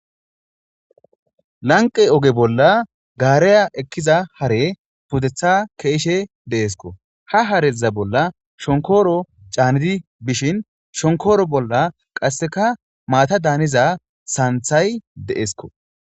Lanqe oge bolla gaareya ekkiza hare pudetha keeshe deeesko ha hareza bolla shonkoro caanidi bishin shonkoro bolla qasseka maata daaniza saanthay deesko.